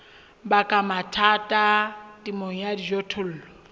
baka mathata temong ya dijothollo